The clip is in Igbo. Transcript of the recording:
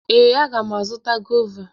Ee, aga m azụta gọva.